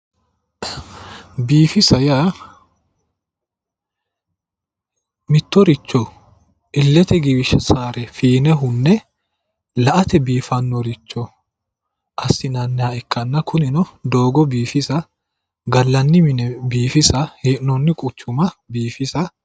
Biifisa yaa mittoricho illete giwisaare fiine hunne la'ate biifannoricho assinannire ikkanna kunino doogo biifisa gallanni mine biifisa hee'noonni quccuma biifisate.